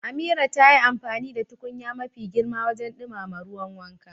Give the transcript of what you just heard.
Amira ta yi amfani da tukunya mafi girma wajen dumama ruwan wanka.